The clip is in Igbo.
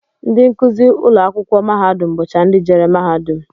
Ndị nkụzi ụlọakwụkwọ mahadum bụcha ndị jere mahadum